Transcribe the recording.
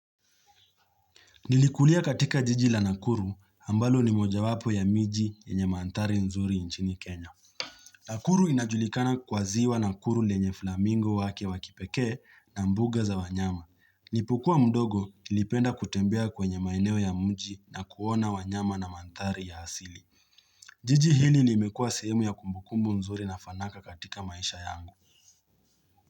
Nilikulia katika jiji la nakuru, ambalo ni moja wapo ya miji yenye mandhari nzuri nchini Kenya. Nakuru inajulikana kwa ziwa nakuru lenye flamingo wake wa kipekee na mbuga za wanyama. Nipukua mdogo ilipenda kutembea kwenye maeneo ya mji na kuona wanyama na mandhari ya asili. Jiji hili limekua sehemu ya kumbukumbu nzuri na fanaka katika maisha yangu.